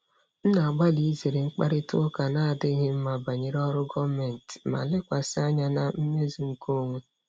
M na-agbalị izere mkparịta ụka na-adịghị mma banyere ọrụ gọọmentị ma lekwasị anya na mmezu nke onwe.